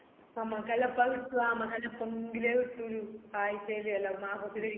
നമക്കെല്ലപ്പാ കിട്ടുവാ നമ്മക്കെല്ലാം എപ്പെങ്കിലേ കിട്ടു ആയ്ചെല് അല്ല മാസത്തിലൊരിക്കേല്ലോ